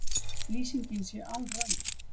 Lýsingin sé alröng